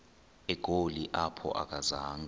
egoli apho akazanga